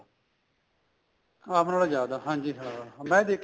ਆਮ ਨਾਲੋ ਜਿਆਦਾ ਹਾਂਜੀ ਹਾਂ ਮੈਂ ਦੇਖਿਆ